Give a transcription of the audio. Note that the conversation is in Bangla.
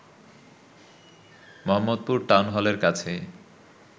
মোহাম্মদপুর টাউন হলের কাছেই